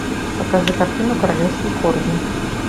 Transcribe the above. покажи картину королевский корги